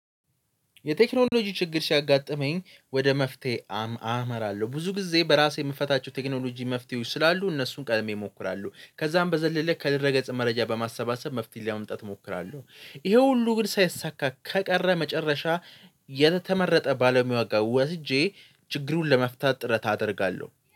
የቴክኖሎጂ ችግር ሲያጋጥመኝ ወደ መፍትሄ አመ አመራለሁ ብዙ ጊዜ በራሴ የምፈታቸው ቴክኖሎጂ መፍትሄዎች ስላሉ እነሱን ቀድሜ እሞክራለሁ ከዛም በዘለለ ከድረገፀ መረጃ በማሰባሰብ መፍትሄ ለመምጣት እሞክራለሁ። ይሄ ሁሉ ግን ሳይሳካ ከቀረ መጨረሻ የተመረጠ ባለሙያ ዋጋ ወስጄ ችግሩን ለመፍታት ጥረት አደርጋለሁ